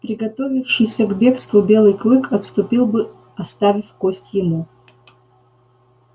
приготовившийся к бегству белый клык отступил бы оставив кость ему